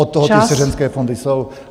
Od toho ty svěřenské fondy jsou.